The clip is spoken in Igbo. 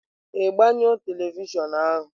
Ị gbanyụọ tevịshịon ahu?